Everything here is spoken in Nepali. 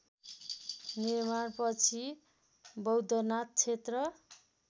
निर्माणपछि बौद्धनाथ क्षेत्र